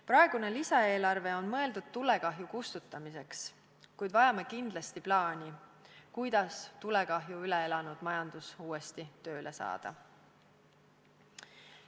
Praegune lisaeelarve on mõeldud tulekahju kustutamiseks, kuid vajame kindlasti plaani, kuidas tulekahju üle elanud majandus uuesti tööle saada.